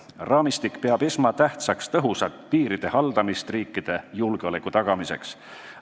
Raamistik peab esmatähtsaks tõhusat piiride haldamist riikide julgeoleku tagamiseks.